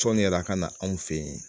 Tɔni yɛrɛ la ka na anw fɛ yen